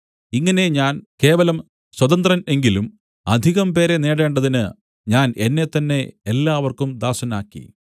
ഇങ്ങനെ ഞാൻ കേവലം സ്വതന്ത്രൻ എങ്കിലും അധികംപേരെ നേടേണ്ടതിന് ഞാൻ എന്നെത്തന്നെ എല്ലാവർക്കും ദാസനാക്കി